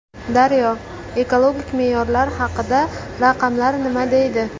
Daryo: Ekologik me’yorlar haqida raqamlar nima deydi?